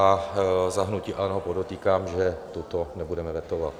Za hnutí ANO podotýkám, že toto nebudeme vetovat.